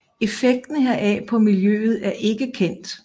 Effekten heraf på miljøet er ikke kendt